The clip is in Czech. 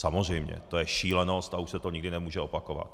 Samozřejmě, to je šílenost a už se to nikdy nemůže opakovat.